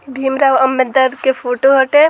भीम राओ आंबेडकर के फोटो हटे ।